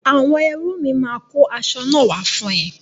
Àwọn ẹrú mi máa kó asọ náà wá fún ẹ.